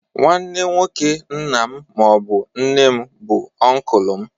Nwanne nwoke nna m ma ọ bụ nne m bụ Ọnkụlụ m.